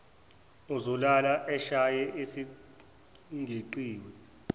uzolala eshaye esingeqiwa